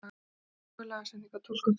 Íhuga lagasetningu á túlkun fyrirtækja